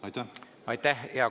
Aitäh, hea kolleeg!